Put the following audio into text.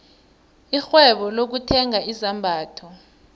irhwebo lokuthenga izambatho